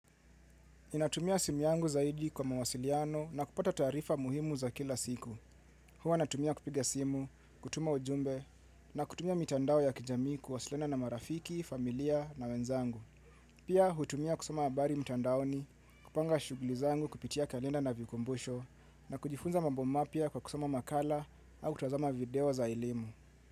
Ninatumia simu yangu zaidi kwa mawasiliano na kupata taarifa muhimu za kila siku. Huwa natumia kupiga simu, kutuma ujumbe na kutumia mitandao ya kijamii kuwasiliana na marafiki, familia na wenzangu. Pia hutumia kusoma habari mitandaoni, kupanga shughuli zangu kupitia kalenda na vikumbusho na kujifunza mambo mapya kwa kusoma makala au kutazama video za elimu.